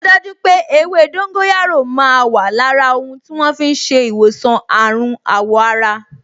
O daju pé ewé dóńgóyárò máa wà lára ohun tí wọ́n fi ń ṣe ìwòsàn àrùn àwọ̀ ara